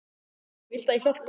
Viltu að ég hjálpi honum?